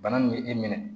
Bana nin bɛ e minɛ